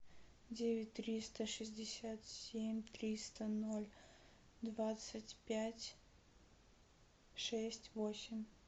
девять триста шестьдесят семь триста ноль двадцать пять шесть восемь